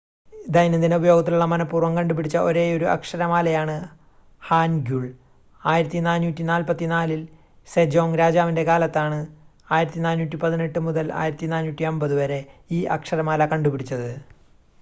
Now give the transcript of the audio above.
ദൈനംദിന ഉപയോഗത്തിലുള്ള മനഃപൂർവ്വം കണ്ടുപിടിച്ച ഒരേയൊരു അക്ഷരമാലയാണ് ഹാൻഗ്യുൾ. 1444-ൽ സെജോങ് രാജാവിന്റെ കാലത്താണ് 1418 -1450 ഈ അക്ഷരമാല കണ്ടുപിടിച്ചത്